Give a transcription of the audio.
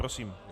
Prosím.